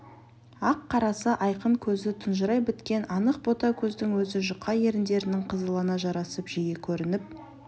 ақ қарасы айқын көзі тұнжырай біткен анық бота көздің өзі жұқа еріндерінің қызылына жарасып жиі көрініп